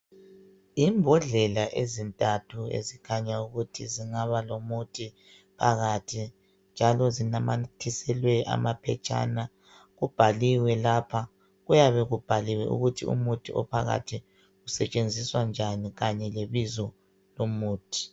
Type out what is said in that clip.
Imbodlela ezintathu ezikhanya ukuthi zingaba lomuthi phakathi njalo zinamathiselwe amaphetshana kubhaliwe lapha kuyabe kubhaliwe ukuthi umuthi ophakathi usentshenziswa njani Kanye lebizo lomuthi.